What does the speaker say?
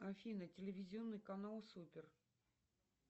афина телевизионный канал супер